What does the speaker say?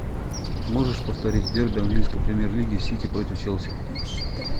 можешь повторить дерби английской премьер лиги сити против челси